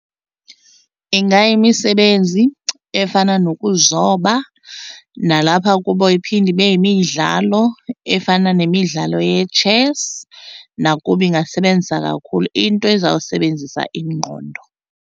Ingayimisebenzi efana nokuzoba nalapha kubo iphinde ibe yimidlalo efana nemidlalo ye-chess nakubo ingasebenzisa kakhulu, into ezawusebenzisa ingqondo.